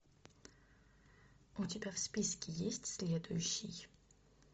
у тебя в списке есть следующий